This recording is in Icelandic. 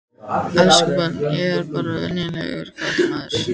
Elsku barn, ég er bara venjulegur karlmaður.